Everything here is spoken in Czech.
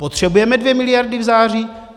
Potřebujeme dvě miliardy v září?